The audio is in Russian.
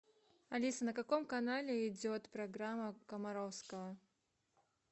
алиса на каком канале идет программа комаровского